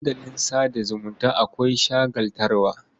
Dandalin sa da zumunta akwai shagaltarwa.